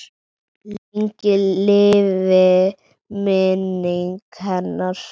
Lengi lifi minning hennar!